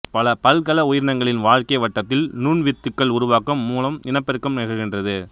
பல பல்கல உயிரினங்களின் வாழ்க்கை வட்டத்தில் நுண்வித்துக்கள் உருவாக்கம் மூலம் இனப்பெருக்கம் நிகழ்கின்றது